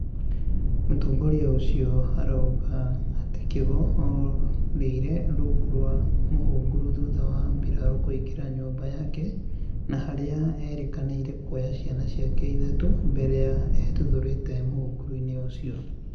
Mũtongoria ũcio arauga atĩ Kigo orĩire rungu rwa mũhunguru thutha wa mbirarũ kũingira nyũmba yake na harĩa erĩkanire kuoya ciana ciake ithatũ mbere ya etuthũrĩte m ũhunguru-inĩ ũcio